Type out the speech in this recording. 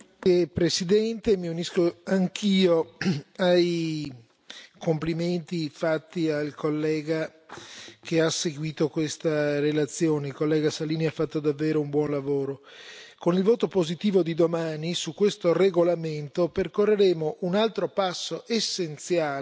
Signor Presidente, onorevoli colleghi, mi unisco anch'io ai complimenti fatti al collega che ha seguito questa relazione il collega Salini ha fatto davvero un buon lavoro. Con il voto positivo di domani su questo regolamento percorreremo un altro passo essenziale